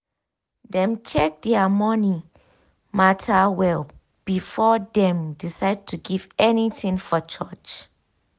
dem check their money matter well before dem decide to give anything for church.